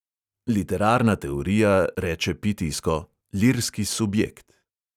Literarna teorija reče pitijsko: lirski subjekt.